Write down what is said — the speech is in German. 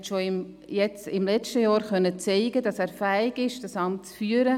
Er konnte schon im vergangenen Jahr zeigen, dass er fähig ist, dieses Amt zu führen.